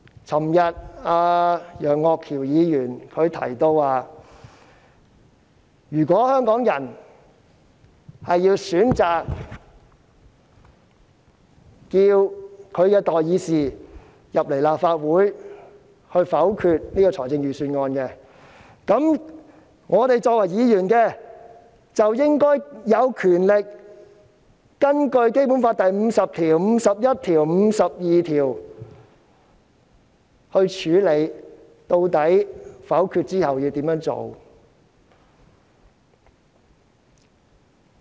昨天，楊岳橋議員提到，如果香港人選擇要求其代議士在立法會否決這項預算案，我們作為議員，便應該有權根據《基本法》第五十條、第五十一條及第五十二條，決定否決之後應怎樣處理。